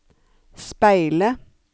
speile